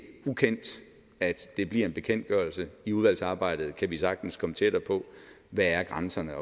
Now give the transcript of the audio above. ukendt at det bliver en bekendtgørelse i udvalgsarbejdet kan vi sagtens komme tættere på hvad grænserne